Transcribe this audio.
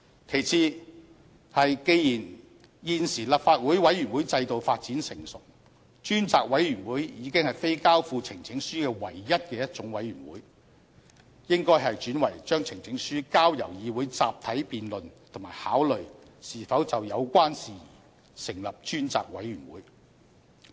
其次是既然現時立法會委員會制度發展成熟，專責委員會已非交付呈請書唯一的一種委員會，應該轉為將呈請書交由議會集體辯論及考慮是否就有關事宜成立專責委員會。